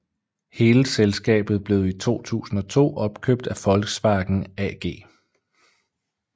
Hele selskabet blev i 2002 opkøbt af Volkswagen AG